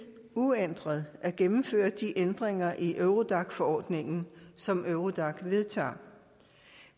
uændret at gennemføre de ændringer i eurodac forordningen som eurodac vedtager